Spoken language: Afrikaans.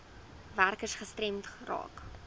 werkers gestremd raak